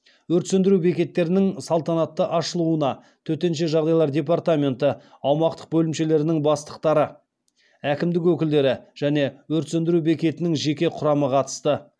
өрт сөндіру бекеттерінің салтанатты ашылуына төтенше жағдайлар департаменті аумақтық бөлімшелерінің бастықтары әкімдік өкілдері және өрт сөндіру бекетінің жеке құрамы қатысты